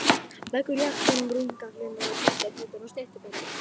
Leggur jakkann á rúmgaflinn og þvottapokann á snyrtiborðið.